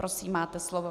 Prosím, máte slovo.